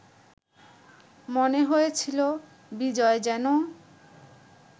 মনে হয়েছিল, বিজয় যেন